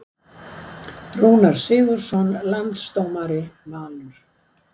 Rúnar Sigurðsson Landsdómari Valur